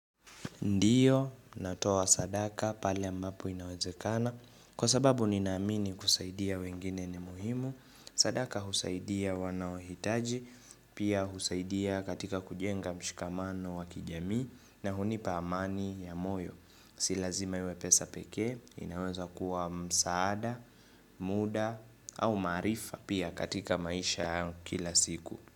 Ndiyo, natoa sadaka pale ambapo inawezekana. Kwa sababu ninamini kusaidia wengine ni muhimu. Sadaka husaidia wanaohitaji, pia husaidia katika kujenga mshikamano wa kijamii na hunipa amani ya moyo. Silazima iwe pesa pekee, inaweza kuwa msaada, muda au maarifa pia katika maisha ya kila siku.